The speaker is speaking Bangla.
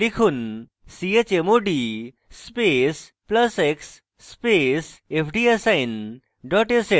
লিখুন: chmod space plus x space fdassign dot sh